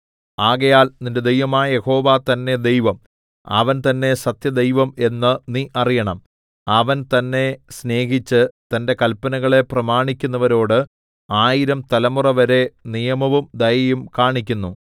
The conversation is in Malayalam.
ആകയാൽ നിന്റെ ദൈവമായ യഹോവ തന്നെ ദൈവം അവൻ തന്നെ സത്യദൈവം എന്ന് നീ അറിയണം അവൻ തന്നെ സ്നേഹിച്ച് തന്റെ കല്പനകളെ പ്രമാണിക്കുന്നവരോട് ആയിരം തലമുറവരെ നിയമവും ദയയും കാണിക്കുന്നു